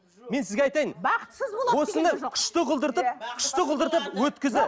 мен сізге айтайын бақытсыз осыны күшті қылдыртып күшті қылдыртып